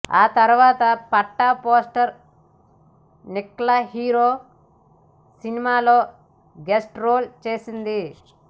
ఆ తర్వాత Phata poster Nikla hero సినిమాలో గెస్ట్ రోల్ చేసింది